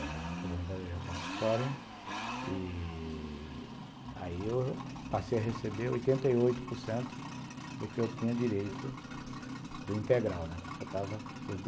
é a aposentadoria compulsória, e aí eu passei a receber oitenta e oito por cento do que eu tinha direito do integral, né? que faltava